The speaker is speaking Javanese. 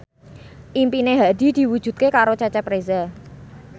impine Hadi diwujudke karo Cecep Reza